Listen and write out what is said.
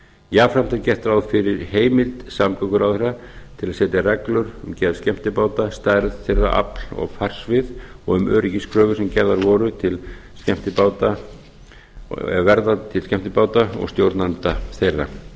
jafnframt er gert ráð fyrir heimild samgönguráðherra til að setja reglur um gerð skemmtibáta stærð þeirra afl og farsvið og um öryggiskröfur sem gerðar voru til skemmtibáta og stjórnenda þeirra